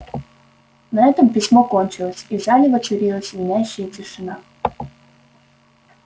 на этом письмо кончилось и в зале воцарилась звенящая тишина